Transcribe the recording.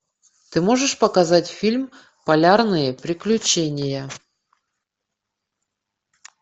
ты можешь показать фильм полярные приключения